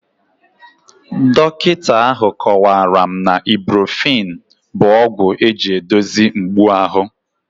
Dọkịta ahụ kọwara m na Ibuprofen bụ ọgwụ eji edozie mgbu ahụ